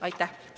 Aitäh!